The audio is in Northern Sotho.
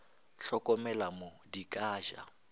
hlokomele mo di ka ja